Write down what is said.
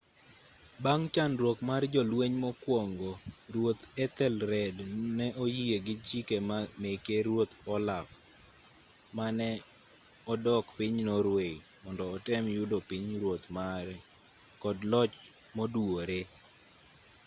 bang' chandruok mar jolueny mokuongo ruoth ethelred ne oyie gi chike meke ruoth olaf mane odok piny norway mondo otem yudo pinyruoth mare kod loch moduwore